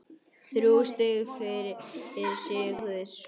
Þrjú stig fyrir sigur